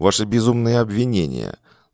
ваши безумные обвинения